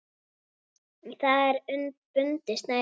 Í það er bundið snæri.